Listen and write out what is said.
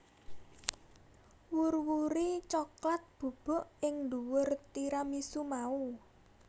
Wur wuri coklat bubuk ing dhuwur tiramisu mau